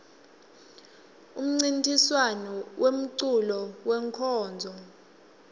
umncintiswam wemeculo wenkonzo